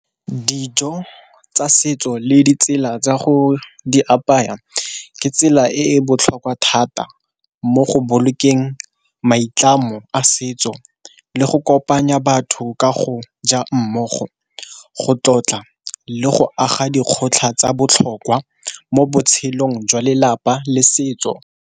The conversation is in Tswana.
Dijo tsa setso le ditsela tsa go di apaya ke tsela e e botlhokwa thata mo go bolokeng maitlamo a setso le go kopanya batho ka go ja mmogo, go tlotla, le go aga dikgotlhang tsa botlhokwa mo botshelong jwa lelapa le setso.